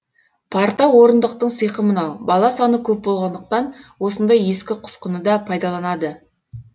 парта орындықтың сиқы мынау бала саны көп болғандықтан осындай ескі құсқыны да пайдаланады